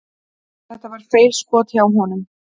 Þetta var feilskot hjá honum.